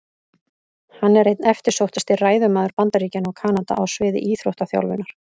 Hann er einn eftirsóttasti ræðumaður Bandaríkjanna og Kanada á sviði íþróttaþjálfunar.